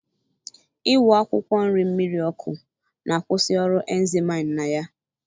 Iwu akwụkwọ nri mmiri ọkụ na-akwusi ọrụ enzyme na ya